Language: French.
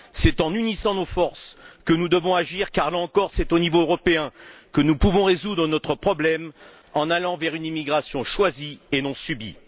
C'est en unissant nos forces que nous devons agir car là encore, c'est au niveau européen que nous pouvons résoudre notre problème en allant vers une immigration choisie et non subie.